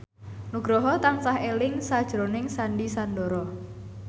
Nugroho tansah eling sakjroning Sandy Sandoro